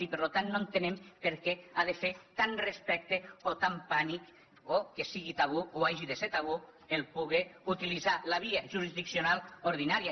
i per tant no entenem per què ha de fer tant respecte o tant pànic o que sigui tabú o hagi de ser tabú poder utilitzar la via jurisdiccional ordinària